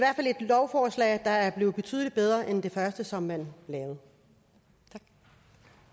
lovforslag der er blevet betydelig bedre end det første som man lavede